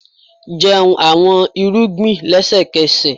jẹun awọn irugbin lẹsẹkẹsẹ!